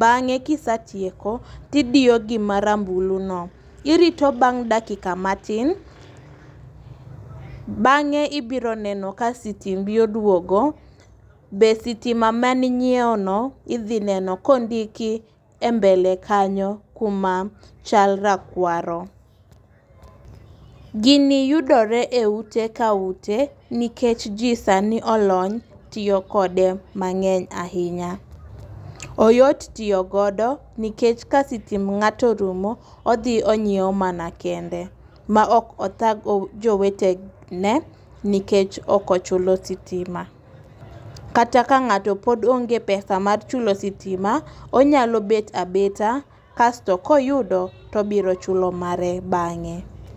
bang'e kisetieko tidiyo gima rambulu no .Irito bang' dakika matin bang'e ibiro neno ka sitimbi oduogo. Be sitima mani nyiewo no idhi neno kondiki e mbele kanyo kuma chal rakwaro . Gini yudore e ute ka ute nikech jii sani olony tiyo kode mang'eny ahinya. Oyot tiyo godo nikech ka sitimb ng'ato rumo odhi onyiewo mana kende ma ok othag jowetene nikech ok ochulo sitima. Kata kapod onge pesa mar chulo sitima onyalo bet abeta kasto koyudo tobiro chulo mare bang'e.